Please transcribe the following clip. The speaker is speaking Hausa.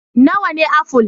Nawa ne aful?